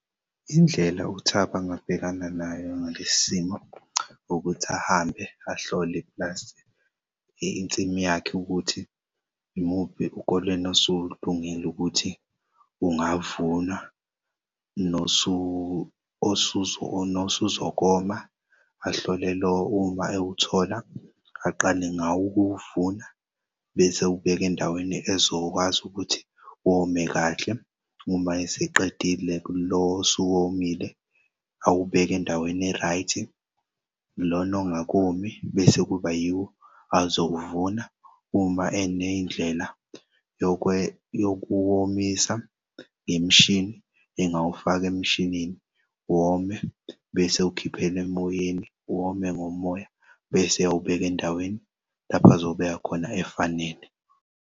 Indlela uThabo angabhekana nayo ngalesimo ukuthi ahambe ahlole insimu yakhe ukuthi imuphi ukolweni usulungile ukuthi ungavunwa nosuzokoma ahlolelwe uma ewuthola aqale ngawo ukuvuna bese ewubeka endaweni ezokwazi ukuthi wome kahle uma eseqedile lo osuke womile awubek'endaweni e-right, lona ongakomi bese kuba yiwo azowuvuna. Uma eney'ndlela yokuwomisa ngemishini engaw'fak'emshinini wome bes'ewukhiphel'emoyeni wome ngomoya bese ayawubeka endaweni lapho azobeka khona efanele.